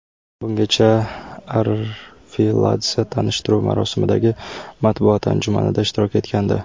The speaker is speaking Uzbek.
Bungacha Arveladze tanishtiruv marosimidagi matbuot anjumanida ishtirok etgandi.